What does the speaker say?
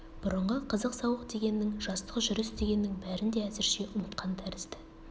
бұрынғы қызық сауық дегеннің жастық жүріс дегеннің бәрін де әзірше ұмытқан тәрізді